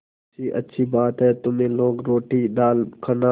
मुंशीअच्छी बात है तुम लोग रोटीदाल खाना